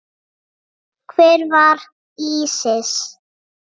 Hver var Ísis?